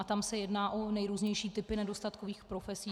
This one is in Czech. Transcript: A tam se jedná o nejrůznější typy nedostatkových profesí.